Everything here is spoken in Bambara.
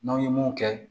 N'aw ye mun kɛ